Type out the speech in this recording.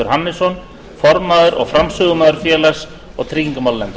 hæstvirtur forseti ég tala fyrir nefndaráliti félags og